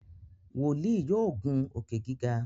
wòlíì yóò ngun Òkè-gíga.